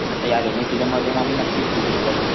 आता या rainy season मध्ये म मी नक्कीच व्हिसिट करेल.